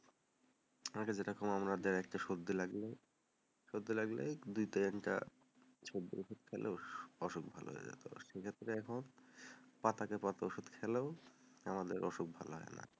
ওরা যেরকম আমাকে দেয়, একটা সর্দি লাগলো সর্দি লাগলে, দুইটা তিনটা সর্দির ওষুধ খেলো, অসুখ ভালো হয়ে যাবে, সেক্ষেত্তে এখন পাতার পর পাতা ওষুধ খেলেও অসুখ ভালো হয় না,